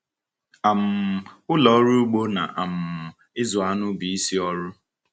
um Ụlọ ọrụ ugbo na um ịzụ anụ bụ isi ọrụ.